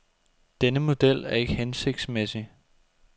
Denne model er ikke hensigtsmæssig.